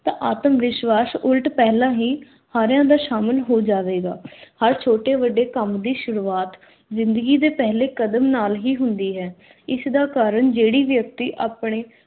ਆਤਮ-ਵਿਸ਼ਵਾਸ ਉਲਟ ਪਹਿਲਾਂ ਹੀ ਸਾਰਿਆਂ ਦਾ ਸ਼ਾਮਿਲ ਹੋ ਜਾਵੇਗਾ। ਹਰ ਛੋਟੇ ਵੱਡੇ ਕੰਮ ਦੀ ਸ਼ੁਰੁਆਤ ਜ਼ਿੰਦਗੀ ਦੇ ਪਹਿਲੇ ਕਦਮ ਨਾਲ ਹੀ ਹੁੰਦੀ ਹੈ। ਇਸ਼ ਦਾ ਕਾਰਨ ਜਿਹੜੀ ਵਿਅਕਤੀ ਆਪਣੇ